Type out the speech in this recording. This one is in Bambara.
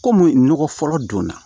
Kɔmi nɔgɔ fɔlɔ donna